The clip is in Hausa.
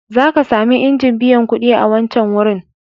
Za ka sami injin biyan kuɗi a wancan wurin..